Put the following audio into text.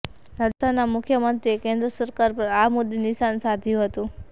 રાજસ્થાનના મુખ્યમંત્રીએ કેન્દ્ર સરકાર પર આ મુદ્દે નિશાન સાધ્યું હતું